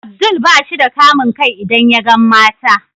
Abdul bashi da kamun kai idan yagan mata.